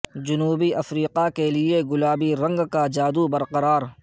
جنوبی افریقہ کے لیے گلابی رنگ کا جادو برقرار